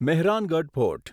Mehrangarh fort